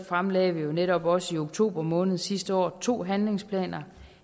fremlagde vi netop også i oktober måned sidste år to handlingsplaner